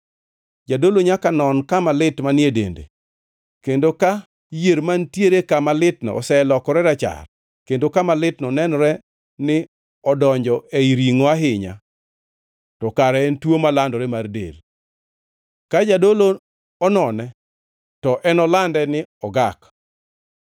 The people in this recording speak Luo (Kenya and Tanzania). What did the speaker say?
Jadolo nyaka non kama lit manie dende, kendo ka yier mantiere kama litno oselokore rachar kendo kama litno nenore ni odonjo ei ringʼo ahinya, to kare en tuo malandore mar del. Ka jadolo onone, to enolande ni ogak.